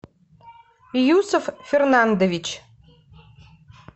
юсов фернандович